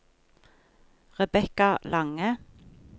Rebekka Lange